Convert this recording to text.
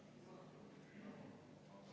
Henn Põlluaas, palun!